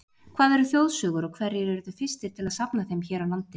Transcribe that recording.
Hvað eru þjóðsögur og hverjir urðu fyrstir til að safna þeim hér á landi?